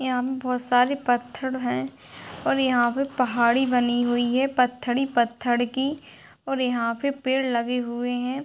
यहाँ पर बहुत सारे पत्थर हैं और यहाँ पे पहाड़ी बनी हुई है पत्थर ही पत्थर की और यहाँ पे पेड़ लगे हुए हैं ।